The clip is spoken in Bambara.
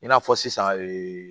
I n'a fɔ sisan ee